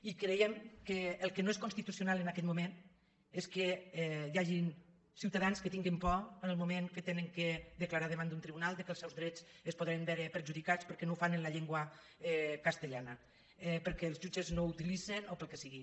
i creiem que el que no és constitucional en aquest moment és que hi hagin ciutadans que tinguen por en el moment que han de declarar davant d’un tribunal que els seus drets es po·den veure perjudicats perquè no ho fan en la llengua castellana perquè els jutges no la utilitzen o pel que sigui